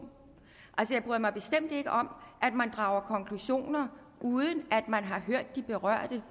jeg bryder mig bestemt ikke om at man drager konklusioner uden at man har hørt de berørte